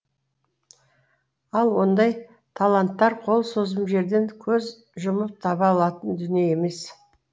ал ондай таланттар қол созым жерден көз жұмып таба алатын дүние емес